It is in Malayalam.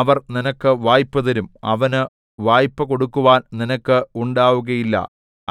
അവർ നിനക്ക് വായ്പ് തരും അവന് വായ്പ് കൊടുക്കുവാൻ നിനക്ക് ഉണ്ടാകുകയില്ല